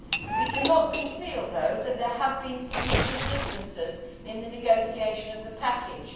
We cannot conceal, though, that there have been significant differences in the negotiation of the package.